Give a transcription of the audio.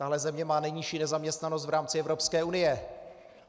Tahle země má nejnižší nezaměstnanost v rámci Evropské unie.